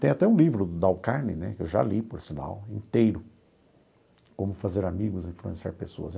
Tem até um livro Dale Carne né, que eu já li, por sinal, inteiro, Como fazer amigos, Influenciar pessoas.